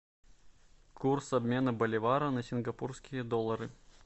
курс обмена боливара на сингапурские доллары